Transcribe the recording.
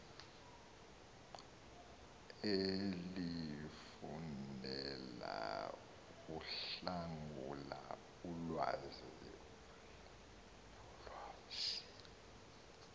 elifundela ukuhlangula ulwazi